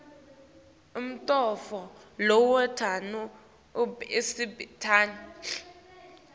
umuntfu lowenta umsebenti